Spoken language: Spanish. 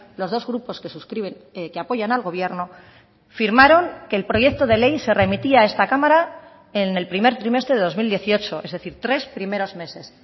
los dos grupos que suscriben que apoyan al gobierno firmaron que el proyecto de ley se remitía a esta cámara en el primer trimestre de dos mil dieciocho es decir tres primeros meses